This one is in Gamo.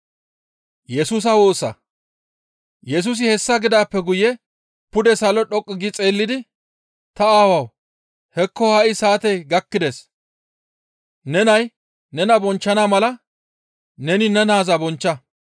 Yesusi hessa gidaappe guye pude salo dhoqqu gi xeellidi, «Ta Aawawu! Hekko ha7i saatey gakkides; ne nay nena bonchchana mala neni ne naaza bonchcha.